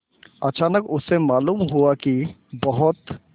अचानक उसे मालूम हुआ कि बहुत